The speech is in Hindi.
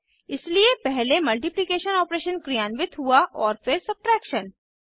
इसलिए पहले मल्टिप्लिकेशन ऑपरेशन क्रियान्वित हुआ फिर सब्ट्रैक्शन